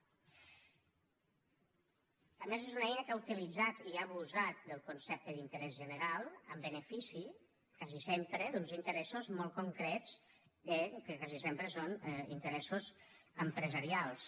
a més és una eina que ha utilitzat i ha abusat del concepte d’interès general en benefici quasi sempre d’uns interessos molt concrets que quasi sempre són interessos empresarials